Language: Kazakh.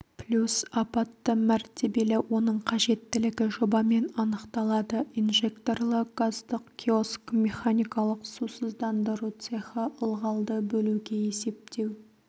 плюс апатты мәртелі оның қажеттілігі жобамен анықталады инжекторлы газдық киоск механикалық сусыздандыру цехі ылғалды бөлуге есептеу